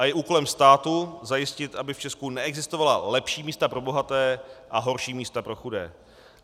A je úkolem státu zajistit, aby v Česku neexistovala lepší místa pro bohaté a horší místa pro chudé.